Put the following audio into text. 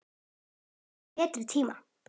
Það bíður bara betri tíma.